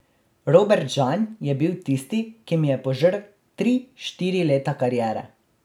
Robert Žan je bil tisti, ki mi je požrl tri, štiri leta kariere.